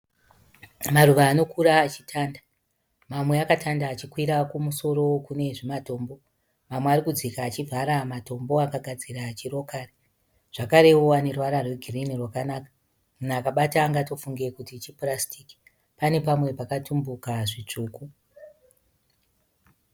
Maruva anokura achitanda. Mamwe akatanda achikwira kumusoro kunezvimatombo. Mamwe arikudzika achivhara matombo akagadzira chi rokari zvakarewo aneruvara rwe girinhi rwakanaka. Munhu akabata angatofunge kuti chipurasitiki. Pane pamwe pakatumbuka zvitsvuku.